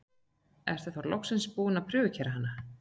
Ertu þá loksins búinn að prufukeyra hana?